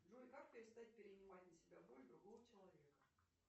джой как перестать перенимать на себя боль другого человека